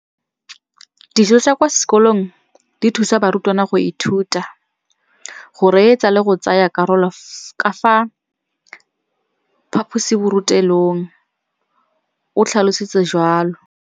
Dijo tsa kwa sekolong dithusa barutwana go ithuta, go reetsa le go tsaya karolo ka fa phaposiborutelong, o tlhalositse jalo.